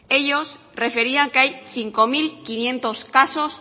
ellos referían que hay cinco mil quinientos casos